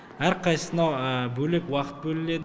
әрқайсысына бөлек уақыт бөлінеді